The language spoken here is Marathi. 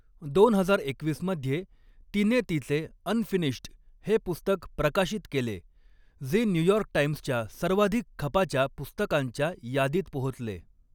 दोन हजार एकवीस मध्ये तिने तिचे 'अनफिनिश्ड' हे पुस्तक प्रकाशित केले, जे न्यूयॉर्क टाइम्सच्या सर्वाधिक खपाच्या पुस्तकांच्या यादीत पोहोचले.